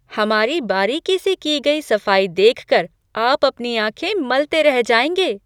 हमारी बारीकी से की गई सफाई देखकर आप अपनी आंखें मलते रह जाएंगे।